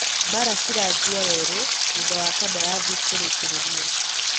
Mbara ciranjia weru, thutha wa kandarithi kurikiririo